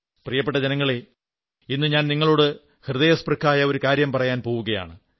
പ്രിയപ്പെട്ട ജനങ്ങളേ ഇന്നു ഞാൻ നിങ്ങളോട് ഹൃയസ്പൃക്കായ ഒരു കാര്യം പറയാൻ പോവുകയാണ്